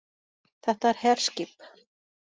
Þetta er herskip